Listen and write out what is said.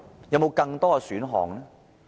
有沒有更多選項？